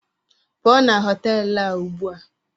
Pụọ na họtelụ a ugbu a!